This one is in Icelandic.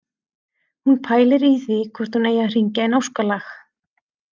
Hún pælir í því hvort hún eigi að hringja inn óskalag